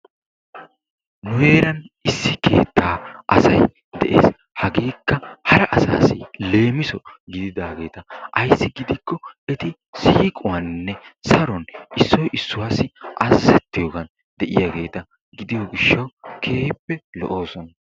Nu heeran issi keettaa asay de'ees. hageekka hara asaassi leemiso gididaageeta. Ayissi giikko eti siiquwaninne saruwan issoy issuwassi azazettiyogan de'iyageeta gidiyo gishshawu eti keehippe lo'oosona.